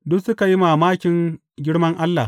Duk suka yi mamakin girman Allah.